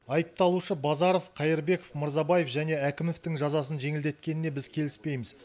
айыпталушы базаров қайырбеков мырзабаев және әкімовтің жазасын жеңілдеткеніне біз келіспейміз